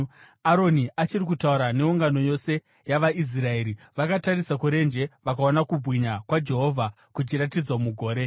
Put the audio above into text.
Aroni achiri kutaura neungano yose yavaIsraeri vakatarisa kurenje vakaona kubwinya kwaJehovha kuchiratidzwa mugore.